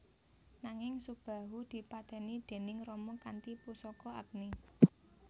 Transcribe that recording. Nanging Subahu dipateni déning Rama kanthi pusaka Agni